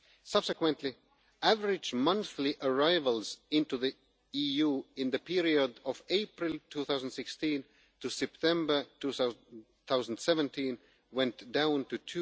Subsequently, average monthly arrivals into the EU in the period from April 2016 to September 2017 were reduced to